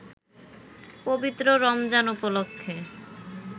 পবিত্র রমজান উপলক্ষে